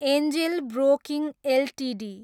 Angel Broking Ltd